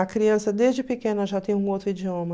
A criança, desde pequena, já tem um outro idioma.